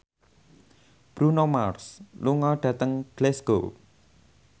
Bruno Mars lunga dhateng Glasgow